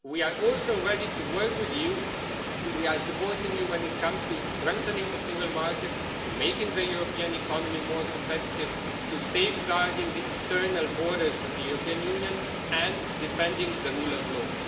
We are also ready to work with you and we are supporting you when it comes to strengthening the single market, to making the European economy more competitive, to safeguarding the external borders of the European Union, and to defending the rule of law.